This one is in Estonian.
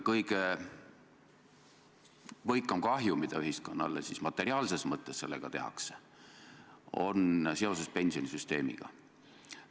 Kõige võikam kahju, mida ühiskonnale materiaalses mõttes sellega tehakse, ilmneb pensionisüsteemi puhul.